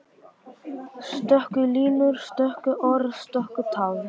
Stöku línur, stöku orð, stöku tafs.